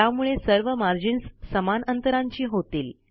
त्यामुळे सर्व मार्जिन्स समान अंतरांची होतील